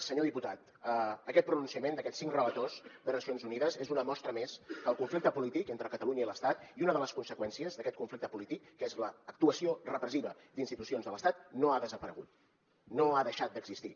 senyor diputat aquest pronunciament d’aquests cinc relators de nacions unides és una mostra més que el conflicte polític entre catalunya i l’estat i una de les conseqüències d’aquest conflicte polític que és l’actuació repressiva d’institucions de l’estat no ha desaparegut no ha deixat d’existir